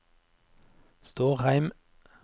Stårheim